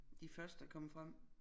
De første der kom frem